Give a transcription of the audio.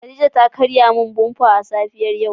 Khadijah ta karya min "bumper" a safiyar yau.